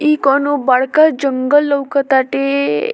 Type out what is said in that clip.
इ कोवनो बड़का जंगल लउकत ताते।